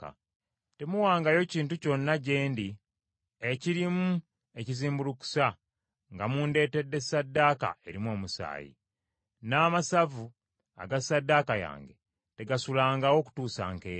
“Temuwangayo kintu kyonna gye ndi ekirimu ekizimbulukusa nga mundeetedde ssaddaaka erimu omusaayi; n’amasavu aga ssaddaaka yange tegasulangawo kutuusa nkeera.